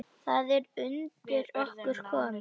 Það er undir okkur komið.